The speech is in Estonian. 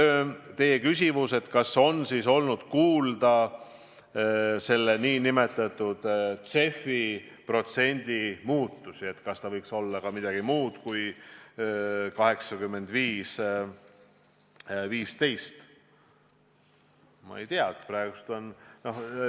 Nüüd, te küsite selle kohta, kas on olnud kuulda, et CEF-i protsenti muudetakse, st kas see võiks olla midagi muud kui 85% : 15%.